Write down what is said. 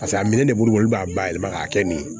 Paseke a minɛn de b'olu bolo olu b'a bayɛlɛma k'a kɛ nin ye